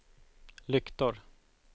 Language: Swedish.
lyktor